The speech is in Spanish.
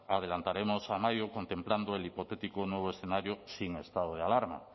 la adelantaremos a mayo contemplando el hipotético nuevo escenario sin estado de alarma